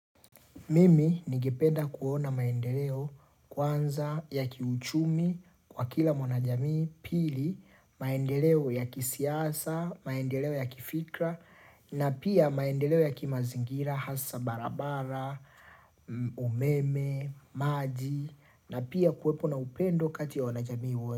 Mimi ningependa kuona maendeleo kwanza ya kiuchumi kwa kila mwanajamii, pili, maendeleo ya kisiasa, maendeleo ya kifikra, na pia maendeleo ya kimazingira, hasa barabara, umeme, maji, na pia kuwepo na upendo kati ya wanajamii.